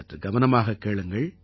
சற்று கவனமாகக் கேளுங்கள்